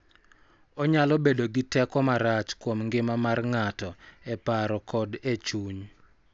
Onyalo bedo gi teko marach kuom ngima mar ng�ato e paro kod e chuny.